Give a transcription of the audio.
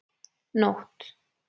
Nótt